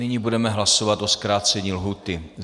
Nyní budeme hlasovat o zkrácení lhůty.